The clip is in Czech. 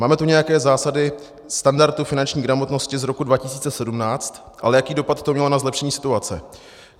Máme tu nějaké zásady standardu finanční gramotnosti z roku 2017, ale jaký dopad to mělo na zlepšení situace?